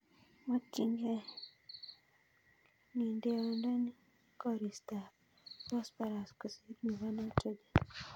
"Mokyingei ng'endeondoni koristap phosphorus kosir nebo nitrogen.